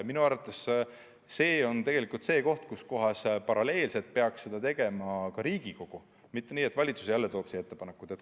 Minu arvates see on tegelikult asi, millega paralleelselt peaks tegelema ka Riigikogu, mitte nii, et valitsus jälle toob siia ettepanekud.